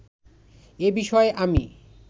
এ বিষয়ে আমি